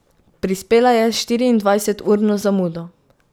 Prispela je s štiriindvajseturno zamudo.